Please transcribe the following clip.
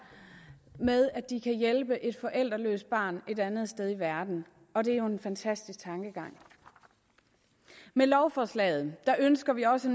med at de kan hjælpe et forældreløst barn et andet sted i verden og det er jo en fantastisk tankegang med lovforslaget ønsker vi også